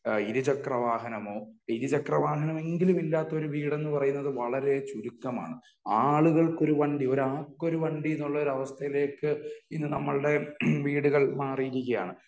ഇരുചക്രവാഹനമോ? ഇരുചക്രവാഹനമെങ്കിലും ഇല്ലാത്ത വീടെന്ന പറയുന്നത് വളരെ ചുരുക്കമാണ്. ആളുകൾക്ക് ഒരു വണ്ടി . ഒരാൾക്കൊരു വണ്ടി എന്ന് ഒരു അവസ്ഥയിലേയ്ക്ക് ഇന്നു നമ്മളുടെ വീടുകൾ മാറിയിരിക്കുകയാണ്.